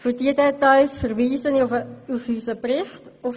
Für diese Details verweise ich auf die Seiten 14 und 15 unseres Berichts.